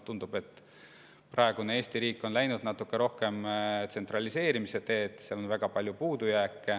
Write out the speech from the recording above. Tundub, et praegune Eesti riik on läinud natuke rohkem tsentraliseerimise teed, ja selles on väga palju puudusi.